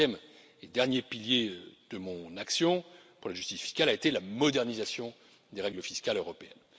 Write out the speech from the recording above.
Le troisième et dernier pilier de mon action pour la justice fiscale a été la modernisation des règles fiscales européennes.